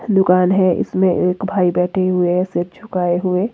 दुकान है इसमें एक भाई बैठे हुए हैं सिर झुकाए हैं।